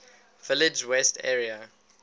village west area